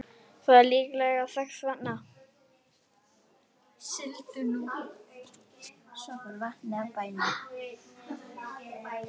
Það er líklega þess vegna.